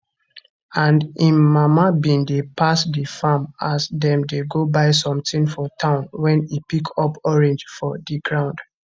and im mama bin dey pass di farm as dem dey go buy sometin for town wen e pick up orange for di ground